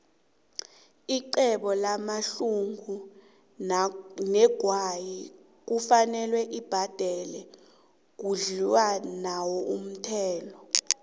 ixhwebo lamaxhugu negwayi kufuze libhadele khudlwanaumthelo